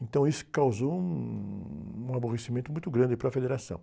Então isso causou um... Um aborrecimento muito grande para a federação.